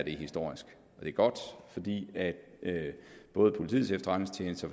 er historisk det er godt fordi både politiets efterretningstjeneste og